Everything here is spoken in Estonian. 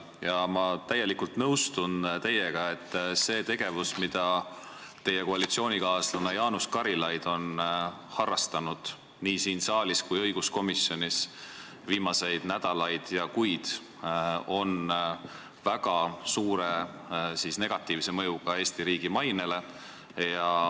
Ja ma täielikult nõustun teiega, et see tegevus, mida teie koalitsioonikaaslane Jaanus Karilaid on harrastanud nii siin saalis kui õiguskomisjonis viimased nädalad ja kuud, on väga suure negatiivse mõjuga Eesti riigi mainele.